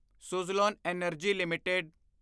Suzlon energy LTD